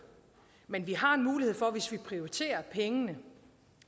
men vi har mulighed for hvis vi prioriterer pengene